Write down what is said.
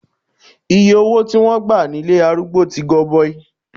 Iye owó tí wón gbà ní ilé arúgbó tí gọbọi.